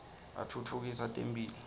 atfutfukisa temphilo